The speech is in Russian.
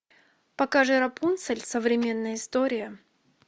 покажи рапунцель современная история